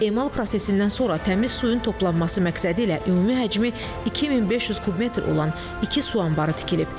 Emal prosesindən sonra təmiz suyun toplanması məqsədilə ümumi həcmi 2500 kub metr olan iki su anbarı tikilib.